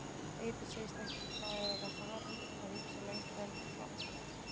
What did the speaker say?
Eiður segist ekki vera farinn að hugsa lengra en til Frakklands.